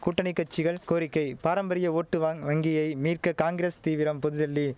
கூட்டணி கட்சிகள் கோரிக்கை பாரம்பரிய ஓட்டு வாங் வங்கியை மீட்க காங்கிரஸ் தீவிரம் பொதுடெல்லி